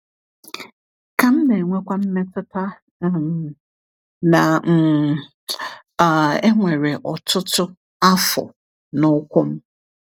Ka m na-enwekwa mmetụta um na um um e nwere ọtụtụ afọ n’ụkwụ m.